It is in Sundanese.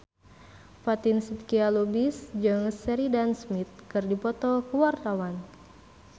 Fatin Shidqia Lubis jeung Sheridan Smith keur dipoto ku wartawan